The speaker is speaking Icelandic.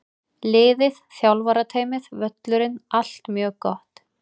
Liðið, þjálfarateymið, völlurinn- allt mjög gott!